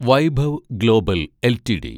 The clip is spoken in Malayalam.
Vaibhav global LTD